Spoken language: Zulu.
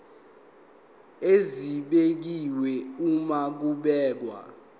esibekiwe uma kubhekwa